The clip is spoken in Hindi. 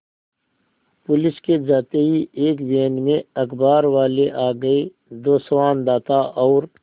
पुलिस के जाते ही एक वैन में अखबारवाले आ गए दो संवाददाता और